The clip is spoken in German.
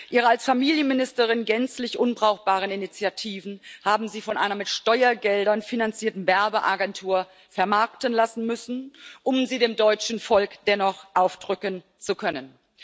Ihre als Familienministerin gänzlich unbrauchbaren Initiativen haben Sie von einer mit Steuergeldern finanzierten Werbeagentur vermarkten lassen müssen, um sie dem deutschen Volk dennoch aufdrücken zu können.